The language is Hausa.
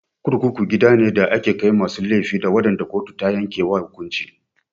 Kurkuku gida ne da ake ajiye masu laifi da waɗanda kotu ta yanke wa hukunci.